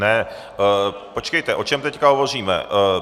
Ne, počkejte, o čem teď hovoříme?